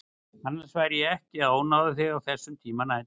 Annars væri ég ekki að ónáða þig á þessum tíma nætur.